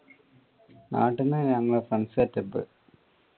നാട്ടീന്ന് ഞങ്ങൾ friends setup